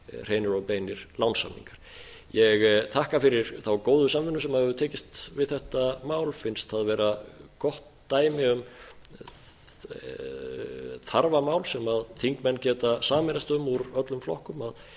hreinir og beinir lánssamningar ég þakka eftir þá góðu samvinnu sem hefur tekist um þetta mál finnst það vera gott dæmi um þarfamál sem þingmenn úr öllum flokkum geta sameinast um